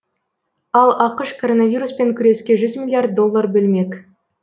ал ақш коронавируспен күреске жүз миллиард доллар бөлмек